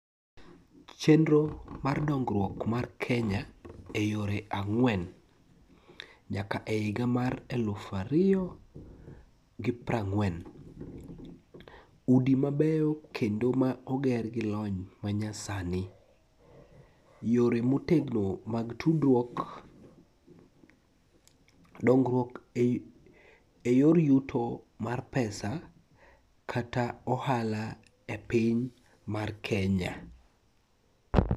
Chenro mar dongruok mar Kenya e yore ang'wen nyaka e higa mar eluf ariyo gi prang'wen. Udi mabeyo kendo ma oger gi lony manyasani, yore motegno mag tudruok, dongruok e yor yuto mar pesa kata ohala e piny mar Kenya.